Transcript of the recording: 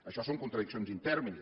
això són contradiccions in terminis